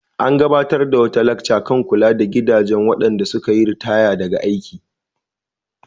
An gabatar da wata lacca kan kula da gidajen waɗanda suka yi ritaya daga aiki.